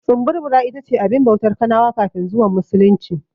Tsumburbura ita ce abin bautar kanawa kafin zuwan Musulunci.